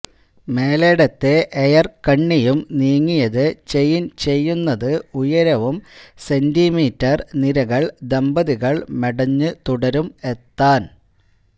മേലേടത്തെ air കണ്ണിയും നീങ്ങിയത് chain ചെയ്യുന്നത് ഉയരവും സെന്റിമീറ്റർ നിരകൾ ദമ്പതികൾ മെടഞ്ഞു തുടരും എത്താൻ